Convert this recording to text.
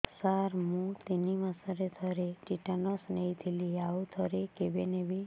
ସାର ମୁଁ ତିନି ମାସରେ ଥରେ ଟିଟାନସ ନେଇଥିଲି ଆଉ ଥରେ କେବେ ନେବି